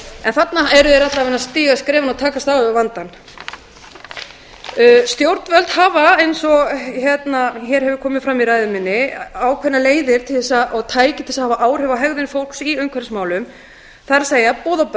en þarna eru þeir alla vega að stíga skrefin og takast á við vandann stjórnvöld hafa eins og hér hefur komið fram í ræðu minni ákveðnar leiðir og tæki til þess að hafa áhrif á hegðun fólks í umhverfismálum það er boð og